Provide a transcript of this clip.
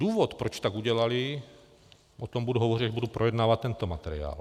Důvod, proč tak udělaly - o tom budu hovořit, až budu projednávat tento materiál.